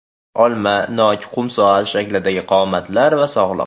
Olma, nok, qum soat shaklidagi qomatlar va sog‘liq.